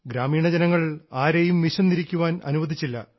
ഗ്രാമീണ ജനങ്ങൾ ആരെയും വിശന്നിരിക്കുവാൻ അനുവദിച്ചില്ല